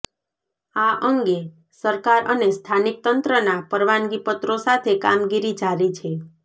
આ અંગે સરકાર અને સ્થાનીક તંત્રના પરવાનગી પત્રો સાથે કામગીરી જારી છે